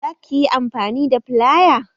Za ka yi amfani da filaya?